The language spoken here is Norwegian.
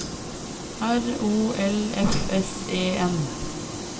R O L F S E N